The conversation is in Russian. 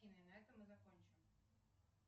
именно этом мы закончим